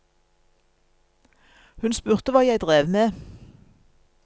Hun spurte hva jeg drev med.